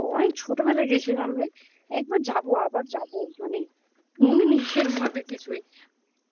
তো অনেক ছোটবেলায় গেছিলাম রে. একবার যাবো. আবার যাবো. মানে. মনে নেই সেরম ভাবে কিছুই